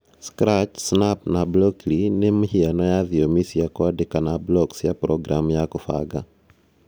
Scratch, Snap, na Blockly nĩ mĩhiano ya thiomi cia kwandĩka na block cia programu ya kũbanga